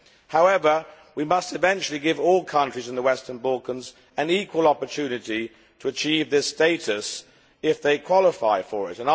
However, we must eventually give all countries in the western Balkans an equal opportunity to achieve this status if they qualify for it.